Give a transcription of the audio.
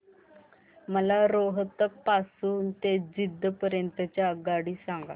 मला रोहतक पासून तर जिंद पर्यंत ची आगगाडी सांगा